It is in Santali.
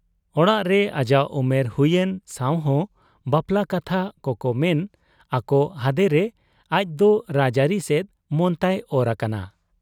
ᱚᱲᱟᱜᱨᱮ ᱟᱡᱟᱜ ᱩᱢᱮᱨ ᱦᱩᱭᱮᱱ ᱥᱟᱶᱦᱚᱸ ᱵᱟᱯᱞᱟ ᱠᱟᱛᱷᱟ ᱠᱚᱠᱚ ᱢᱮᱱ ᱟᱠᱚ ᱦᱟᱫᱮᱨᱮ ᱟᱡᱫᱚ ᱨᱟᱡᱲᱟᱹᱨᱤ ᱥᱮᱫ ᱢᱚᱱᱛᱟᱭ ᱚᱨ ᱟᱠᱟᱱᱟ ᱾